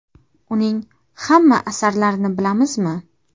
Uning hamma asarlarini bilamizmi?.